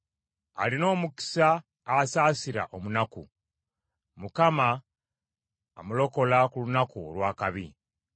Alina omukisa asaasira omunaku; Mukama amulokola ku lunaku olw’akabi.